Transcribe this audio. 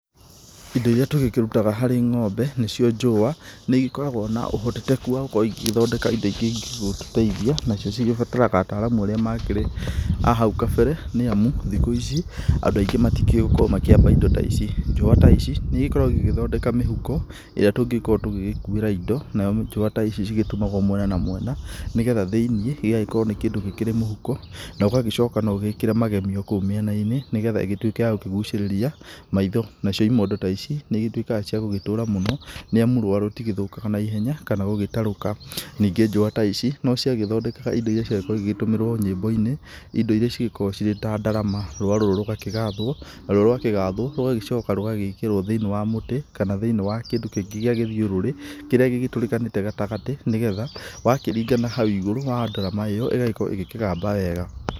Indo iria tũgĩkĩrutaga harĩ ng'ombe nĩcio njũa, nĩigĩkoragwo na ũhotekeku wa gũkorwo igĩthondeka indo ingĩ ingĩgĩtũteithia, nacio cigĩbataraga ataaramu arĩa makĩrĩ a hau kabere nĩamu thikũ ici andũ aingĩ matikĩũĩ gũkorwo makĩamba indo ta ici, njũa ta ici nĩcigĩkoragwo igĩgĩthondeka mĩhuko ĩrĩa tũngĩkorwo tũgĩgĩkuĩra indo, nayo njũa ta ici cigĩtumwo mwena na mwena nĩgetha thĩ-inĩ gĩgagĩkorwo nĩ kĩndũ gĩkĩrĩ mũhukbuo, nogagĩcoka noũgĩkĩre magemio kũu mĩenana-inĩ nĩgetha ĩgĩtuĩke ya gũkĩgucĩrĩria maitho, nacio imondo ta ici nĩigĩtuĩkaga cia gũgĩtura mũno, nĩamu rũa rũtigĩthũkaga naihenya kana gũgbuĩtarũka, ningĩ njũa ta ici nociagĩthondekaga indo iria ciagĩkoragwo igĩgĩtũmĩrwo nyĩmbo-inĩ, indo iria cingĩkorwo ta ndarama, rũa rũrũ rũgagĩgathwo naruo rwagĩgathwo rũgagĩcoka rũgekĩrwo thĩ-inĩ wa mũtĩ kana thĩ-inĩ wa kĩndũ kĩngĩ gĩa gĩthiũrũrĩ, kĩrĩa gĩgĩtũrĩkanĩte gatagatĩ nĩgetha wakĩringa nahau igũrũ wa ndarama ĩyo, ĩgakorwo ĩgĩkĩgamba wega.